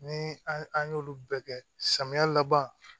Ni an y'olu bɛɛ kɛ samiya laban